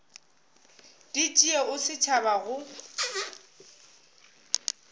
di tšee o tšhaba go